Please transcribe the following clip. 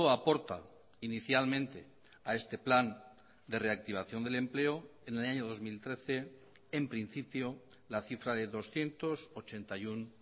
aporta inicialmente a este plan de reactivación del empleo en el año dos mil trece en principio la cifra de doscientos ochenta y uno